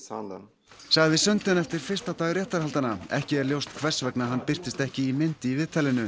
sagði Sunden eftir fyrsta dag réttarhaldanna ekki er ljóst hvers vegna hann birtist ekki í mynd í viðtalinu